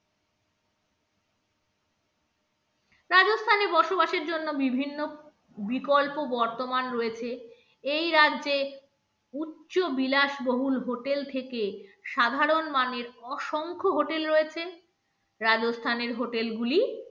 রাজস্থানে বসবাসের জন্য বিভিন্ন বিকল্প বর্তমান রয়েছে এই রাজ্যে উচ্চবিলাস বহুল hotel থেকে সাধারণ মানের অসংখ্য hotel রয়েছে রাজস্থানের hotel গুলি